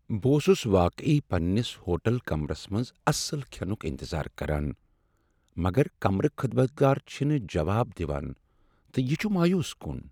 بہٕ اوسس واقعی پننس ہوٹل کمرس منٛز اصل کھینک انتظار کران، مگر کمرٕخدمتگار چھنہٕ جواب دوان تہٕ یِہ چھ مایوس کران۔